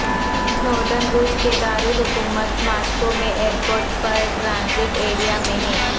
Snowden روس کے دارالحکومت ماسکو میں ایئر پورٹ پر ٹرانزٹ ایریا میں ہیں